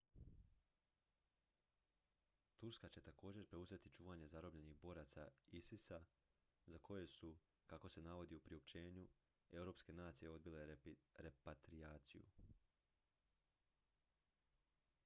turska će također preuzeti čuvanje zarobljenih boraca isis-a za koje su kako se navodi u priopćenju europske nacije odbile repatrijaciju